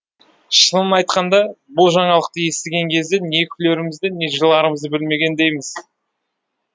шынын айтқанда бұл жаңалықты естіген кезде не күлерімізді не жыларымызды білмегендейміз